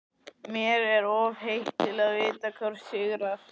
Mér er of heitt til að vita hvor sigrar.